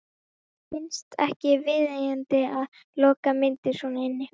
Mér finnst ekki viðeigandi að loka myndir svona inni.